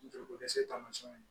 Joliko dɛsɛ tamasiyɛnw ye